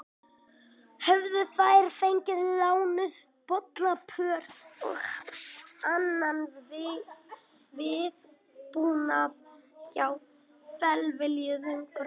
Höfðu þær fengið lánuð bollapör og annan viðbúnað hjá velviljuðum grönnum.